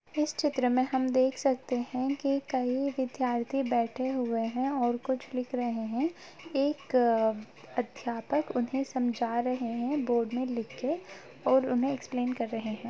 इस चित्र में हम देख सकते है की कई विद्यार्थी बैठे हुए है और कुछ लिख रहे है एक अध्यापक उन्हें समझा रहे है बोर्ड में लिख के और उन्हें एक्सप्लेन कर रहे है।